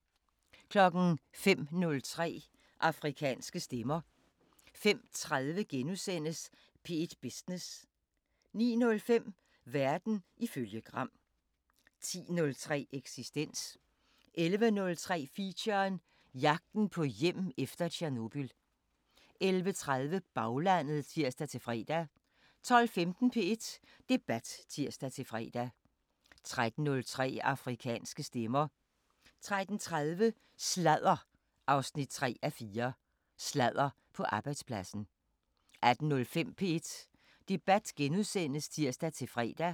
05:03: Afrikanske Stemmer 05:30: P1 Business * 09:05: Verden ifølge Gram 10:03: Eksistens 11:03: Feature: Jagten på hjem efter Tjernobyl 11:30: Baglandet (tir-fre) 12:15: P1 Debat (tir-fre) 13:03: Afrikanske Stemmer 13:30: Sladder 3:4: Sladder på arbejdspladsen 18:05: P1 Debat *(tir-fre)